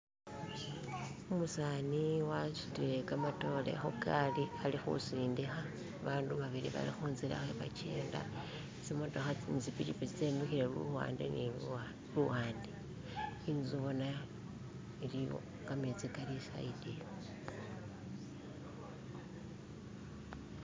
Umusani wasutile kamatore khugali ali khusindikha, abandu babili bali khunzila khabakenda, tsimotokha ne tsipikipiki tse mikhile luwande ne luwande. Inzu bona ili wo, kametsi kali luwande luno